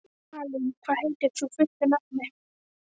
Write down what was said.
Malín, hvað heitir þú fullu nafni?